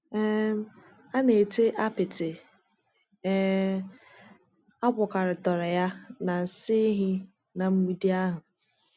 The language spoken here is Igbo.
um A na ete apịtị um a gwakọtara ya na nsị ehi ná mgbidi ahụ.